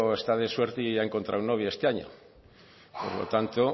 está de suerte y ha encontrado novia este año por lo tanto